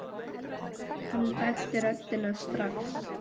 Hann þekkti röddina strax.